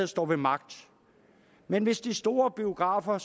står ved magt men hvis de store biografer